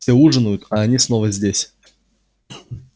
все ужинают а они снова здесь